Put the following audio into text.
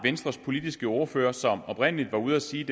venstres politiske ordfører som oprindelig var ude at sige